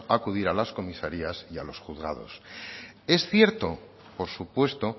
acudir a las comisarías y a los juzgados es cierto por supuesto